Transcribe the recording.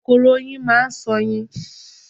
Kòkòrò oyin máa ṣoyin.